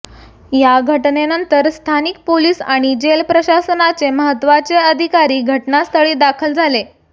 या घटनेनंतर स्थानिक पोलीस आणि जेल प्रशासनाचे महत्त्वाचे अधिकारी घटनास्थळी दाखल झाले आहेत